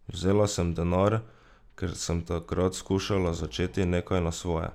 Vzela sem denar, ker sem takrat skušala začeti nekaj na svoje.